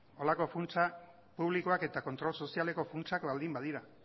horrelako funtsa publikoak eta kontrol sozialeko funtsak baldin badira